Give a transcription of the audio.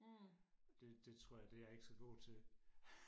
det det tror jeg det er jeg ikke så god til